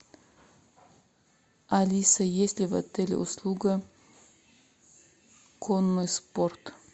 алиса есть ли в отеле услуга конный спорт